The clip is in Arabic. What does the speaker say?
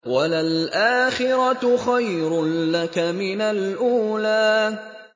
وَلَلْآخِرَةُ خَيْرٌ لَّكَ مِنَ الْأُولَىٰ